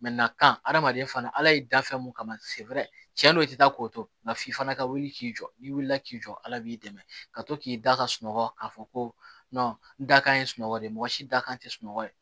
na kan hadamaden fana ala y'i da fɛn mun kama cɛn don i ti taa k'o to nka f'i fana ka wuli k'i jɔ n'i wulila k'i jɔ ala b'i dɛmɛ ka to k'i da ka sunɔgɔ k'a fɔ ko n da kan ye sunɔgɔ de mɔgɔ si da kan sunɔgɔ ye